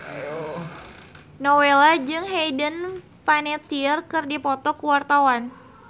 Nowela jeung Hayden Panettiere keur dipoto ku wartawan